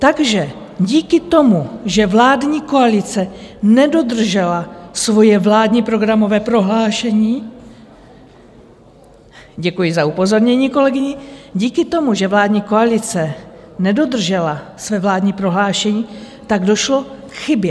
Takže díky tomu, že vládní koalice nedodržela svoje vládní programové prohlášení, děkuji za upozornění kolegyni, díky tomu, že vládní koalice nedodržela svoje vládní prohlášení, tak došlo k chybě.